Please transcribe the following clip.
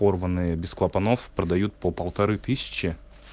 порванные без клапанов продают по полторы тысячи